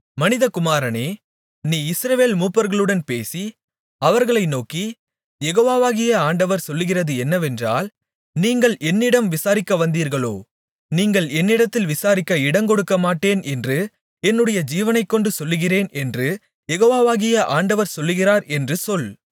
மனிதகுமாரனே நீ இஸ்ரவேல் மூப்பர்களுடன் பேசி அவர்களை நோக்கி யெகோவாகிய ஆண்டவர் சொல்லுகிறது என்னவென்றால் நீங்கள் என்னிடம் விசாரிக்கவந்தீர்களோ நீங்கள் என்னிடத்தில் விசாரிக்க இடங்கொடுக்கமாட்டேன் என்று என்னுடைய ஜீவனைக்கொண்டு சொல்லுகிறேன் என்று யெகோவாகிய ஆண்டவர் சொல்லுகிறார் என்று சொல்